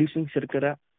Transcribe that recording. લે છે અને